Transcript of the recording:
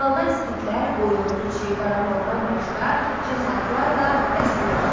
Maldar skitlər, qoyun, keçi, qaramaldan başqa cins atlar da bəsləyirdilər.